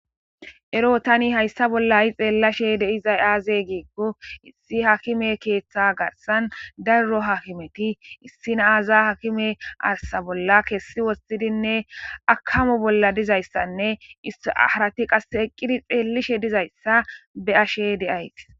Ero tani hayssa bolla i xeellashe deizay aazey giikko issi hakime keeththa garsan daruro hakimeti issinaaaza hakime arsa bolla keessi wostidinne akamo bolla dizayssanne issharati qas eqqidi xeellishe dizayssa be ashe de'ayta.